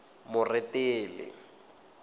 moretele